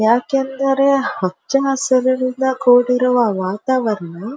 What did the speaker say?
ಯಾಕೆಂದರೆ ಹಚ್ಚ ಹಸಿರಿನಿಂದ ಕೂಡಿರುವ ವಾತಾವರಣ.